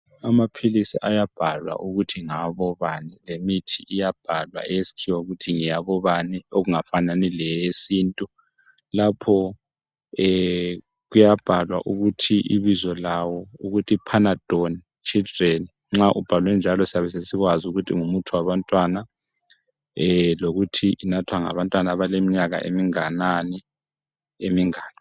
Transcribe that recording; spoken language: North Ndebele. Amaphilisi ayabhalwa ukuthi ngawabobani lemithi iyabhalwa eyesikhiwa ukuthi ngeyabo bani okungafani yesintu lapho kuyabhalwa ukuthi ibizo lawo Panadol children. Nxa sokunjalo sesikwazi ukuthi ngumuthi wabantwana njalo inathwa ngabantwana abaleminyaka eminganani emingaki.